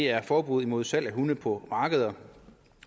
er forbuddet mod salg af hunde på markeder